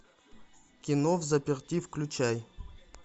кино взаперти включай